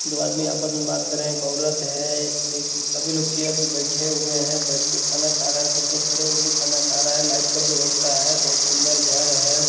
दो आदमी आपस में बात करें एक औरत है एक सभी लोग चेयर पे बैठे हुए हैं बैठके खाना खा रहे हैं कुछ लोग खड़े हो कर खाना खा रहे हैं लाइट का व्यवस्था है बहुत सुंदर घर है ।